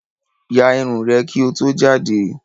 Yà ìrun rẹ ki ó tó jàde!